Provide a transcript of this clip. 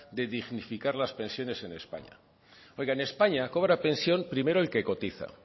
de dignificar las pensiones en españa oiga en españa cobra pensión primero el que cotiza